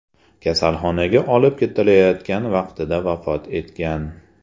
kasalxonaga olib ketilayotgan vaqtida vafot etgan.